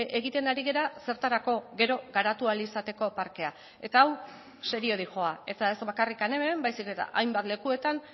egiten ari gara zertarako gero garatu ahal izateko parkea eta hau serio doa eta ez bakarrik hemen baizik eta hainbat lekuetan